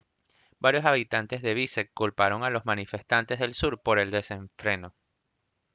varios habitantes de biskek culparon a los manifestantes del sur por el desenfreno